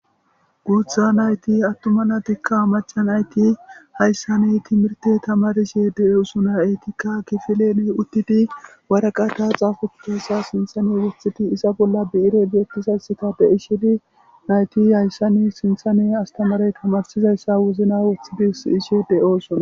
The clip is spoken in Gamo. guutha nayti attuma nadikka amacha nayti hayssani timirti tamarishe de7oosona etikka kifilene uttidi waraqata xaafotossa sinthane woththidi isa bolla bi7ire biettisaysita de ishini nayti hayssanni sinthane astamarey tamarsizayssa wozna wothidis ishe de7oosona